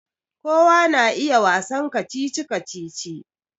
Kowa na iya wasan kacici-kacici